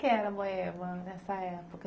Como é que era Moeba nessa época?